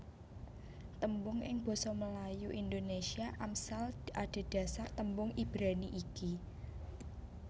Tembung ing basa Melayu Indonésia Amsal adhedhasar tembung Ibrani iki